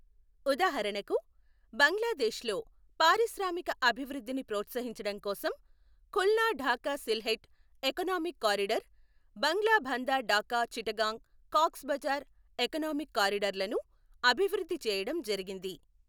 ఉదాహరణకు, బంగ్లాదేశ్ లో పారిశ్రామిక అభివృద్ధిని ప్రోత్సహించడం కోసం Khulna Dhaka Sylhet economic corridor, Banglabandha Dhaka Chittagong Cox's Bazar economic corridor లను అభివృద్ధి చేయడం జరిగింది.